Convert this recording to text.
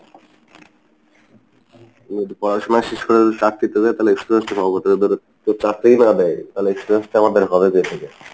পড়াশোনা শেষ করে যদি চাকরি তে যাই তালে experience টা পাবো কোথায়? ধরেন যদি চাকরিই না দেই তালে experience টা আমাদের হবে কোথ থেকে।